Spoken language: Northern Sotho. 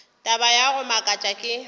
taba ya go makatša ke